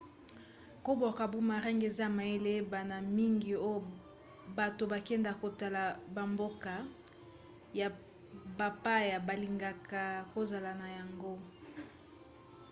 kobwaka boomerang eza mayele eyebana mingi oyo bato bakendaka kotala bamboka ya bapaya balingaka kozala na yango